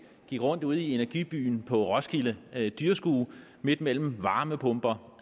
gik rundt ude i energibyen på roskilde dyrskue midt mellem varmepumper